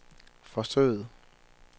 forsøget